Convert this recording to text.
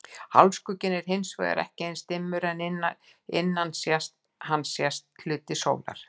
Hálfskugginn er hins vegar ekki eins dimmur en innan hans sést hluti sólar.